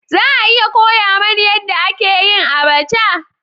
Za a iya koya mani yadda ake yin abacha?